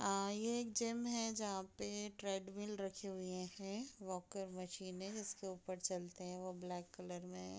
अ एक जिम हैं जहाँ पे ट्रेंडमिल रखे हुए हैं वॉकर मशीने हैं जिसके ऊपर चलते हैं ब्लैक कलर में --